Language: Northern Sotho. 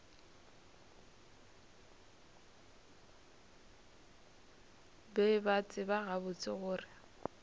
be ba tseba gabotse gore